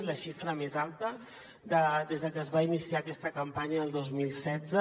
és la xifra més alta des que es va iniciar aquesta campanya el dos mil setze